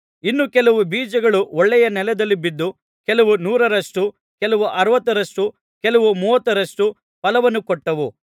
ಇನ್ನು ಕೆಲವು ಬೀಜಗಳು ಒಳ್ಳೆಯ ನೆಲದಲ್ಲಿ ಬಿದ್ದು ಕೆಲವು ನೂರರಷ್ಟು ಕೆಲವು ಅರವತ್ತರಷ್ಟು ಕೆಲವು ಮೂವತ್ತರಷ್ಟು ಫಲವನ್ನು ಕೊಟ್ಟವು